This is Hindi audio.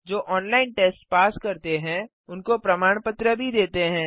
जो ऑनलाइन टेस्ट पास करते हैं उनको प्रमाण पत्र भी देते हैं